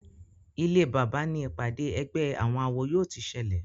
Ilé bàbá ní ìpàdé ègbé àwọn àwo yóò tí ṣẹlẹ.